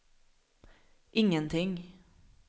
ingenting